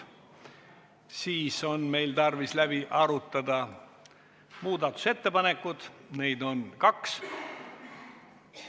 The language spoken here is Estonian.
Sellisel juhul on meil tarvis läbi arutada muudatusettepanekud, mida on kaks.